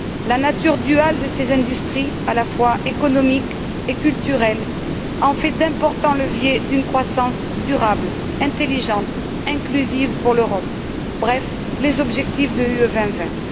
La nature duale de ces industries, à la fois économique et culturelle, en fait d'importants leviers d'une croissance durable, intelligente, inclusive pour l'Europe bref, les objectifs de la stratégie Europe